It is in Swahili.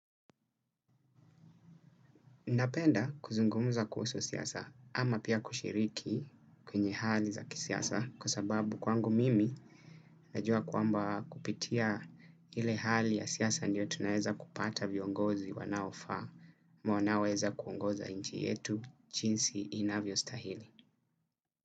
Napenda kuzungumuza kuhusu siasa ama pia kushiriki kwenye hali za kisiasa kwa sababu kwangu mimi najua kwamba kupitia hile hali ya siasa ndio tunaweza kupata viongozi wanaofaa ama wanaoweza kuongoza inchi yetu chinsi inavyostahili.